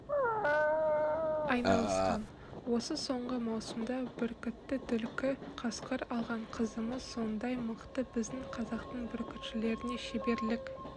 айналысқан осы соңғы маусымда бүркіті түлкі қасқыр алған қызымыз сондай мықты біздің қазақтың бүркітшілеріне шеберлік